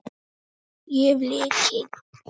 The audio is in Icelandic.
Ég hef lykil.